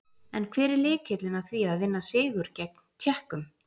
En hver er lykillinn að því að vinna sigur gegn Tékkum?